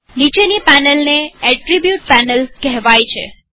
નીચેની પેનલને એટ્રીબુટગુણ પેનલ કેહવાય છે